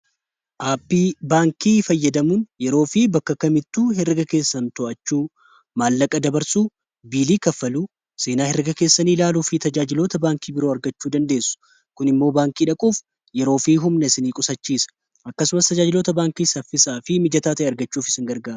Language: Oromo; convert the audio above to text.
Aappi baankii fayyadamuun yeroo fi bakka kamittuu herrega keessan to'achuu, maallaqa dabarsuu, biilii kaffaluu, seenaa herrega keessani ilaaluu fi tajaajiloota baankii biroo argachuu dandeessu. Kun immoo baankii dhaquuf yeroo fi humna isin qusachiisa akkasumas tajaajilota baankii saffisaa fi mijataa ta'e argachuuf isin gargaara.